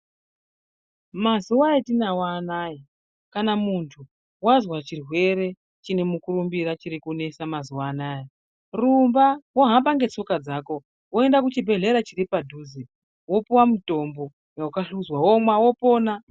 Mazuwa etinawo anaya, kana muntu wazwa chirwere chine mukurumbira chiri kunesa mazuwa anaya, rumba, wohamba ngetsoka dzako ,woenda kuchibhedhlera chiri padhuze, wopuwa mutombo, wakahluzwa, womwa, wopona.